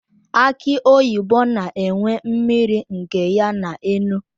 Aki oyibo na enwe mmiri nke ya na enu.